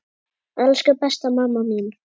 Elsku besta mamma mín.